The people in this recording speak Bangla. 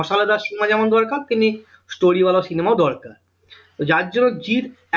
মসলাদার cinema যেমন দরকার তেমনি story ওয়ালা cinema দরকার তো যার জন্য জিৎ